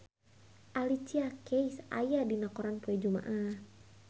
Alicia Keys aya dina koran poe Jumaah